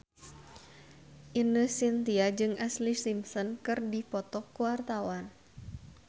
Ine Shintya jeung Ashlee Simpson keur dipoto ku wartawan